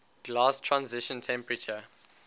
glass transition temperature